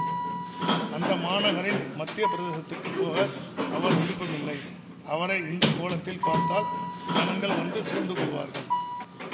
அந்த மாநகரின் மத்திய பிரதேசத்துக்குப் போக அவர் விருப்பமில்லை அவரை இந்த கோலத்தில் பார்த்தால் ஜனங்கள் வந்து சூழ்ந்து கொள்வார்கள்